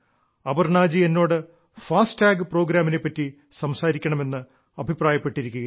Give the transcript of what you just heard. അപർണ്ണാജി എന്നോട് എഅടഠമഴ ജൃീഴൃമാാല നെപ്പറ്റി സംസാരിക്കണമെന്ന് അഭിപ്രായപ്പെട്ടിരിക്കുകയാണ്